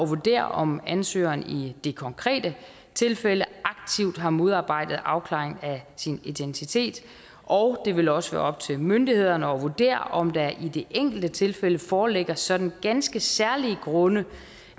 vurdere om ansøgeren i det konkrete tilfælde aktivt har modarbejdet afklaringen af sin identitet og det vil også være op til myndighederne at vurdere om der i det enkelte tilfælde foreligger sådan ganske særlige grunde